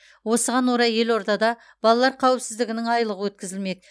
осыған орай елордада балалар қауіпсіздігінің айлығы өткізілмек